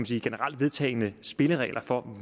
sige generelt vedtagne spilleregler for